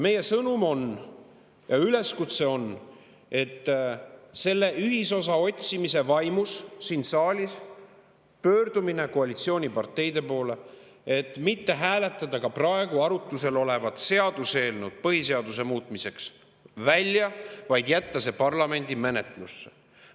Meil on sõnum ja üleskutse, me pöördume ühisosa otsimise vaimus siin saalis koalitsiooniparteide poole: hääletage praegu arutlusel olevat seaduseelnõu põhiseaduse muutmiseks maha, vaid jätke see parlamendi menetlusse.